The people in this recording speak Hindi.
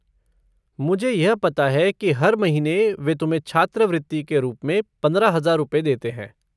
मुझे यह पता है कि हर महीने वे तुम्हें छात्रावृति के रूप में पंद्रह हजार रुपए देते हैं।